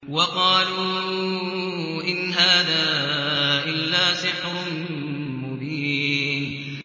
وَقَالُوا إِنْ هَٰذَا إِلَّا سِحْرٌ مُّبِينٌ